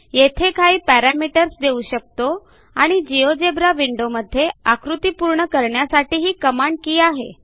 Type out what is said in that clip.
येथे काही पॅरामीटर्स देऊ शकतो आणि जिओजेब्रा विंडो मध्ये आकृती पूर्ण करण्यासाठी ही कमांड के आहे